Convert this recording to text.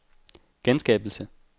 genskabelse